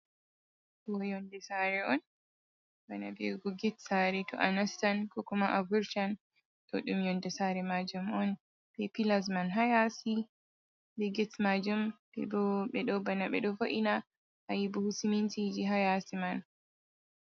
Ɗo'o yonnde saare on bana wi'ugo get saare, to a nastan koo kuma a vurtan, ɗo'o ɗum yonnde saare maajum on bee pillas man ha yaasi bee get maajum ɓe ɗo bana ɓe ɗo vo’ina a yii buhu simintiiji haa yaasi man.